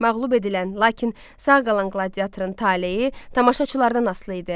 Məğlub edilən, lakin sağ qalan qladiatorun taleyi tamaşaçılardan asılı idi.